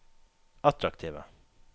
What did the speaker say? attraktive